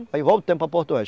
Aí voltamos para Porto Velho